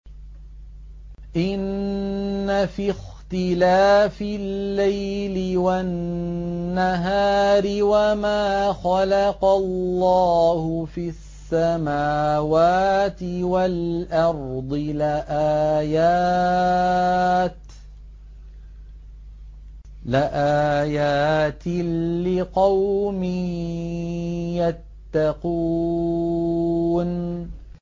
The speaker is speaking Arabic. إِنَّ فِي اخْتِلَافِ اللَّيْلِ وَالنَّهَارِ وَمَا خَلَقَ اللَّهُ فِي السَّمَاوَاتِ وَالْأَرْضِ لَآيَاتٍ لِّقَوْمٍ يَتَّقُونَ